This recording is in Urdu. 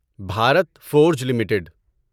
Bharat Forge limited